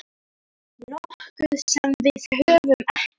Nokkuð sem við höfum ekki.